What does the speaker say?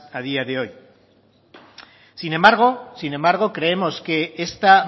a día de hoy sin embargo sin embargo creemos que esta